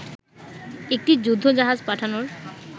একটি যুদ্ধ জাহাজ পাঠানোর